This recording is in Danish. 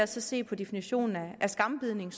se på definitionen af skambidning